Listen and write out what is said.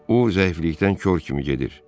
O zəiflikdən kor kimi gedir.